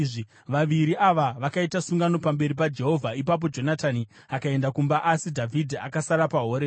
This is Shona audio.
Vaviri ava vakaita sungano pamberi paJehovha. Ipapo Jonatani akaenda kumba asi Dhavhidhi akasara paHoreshi.